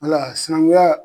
Wala sinankunya.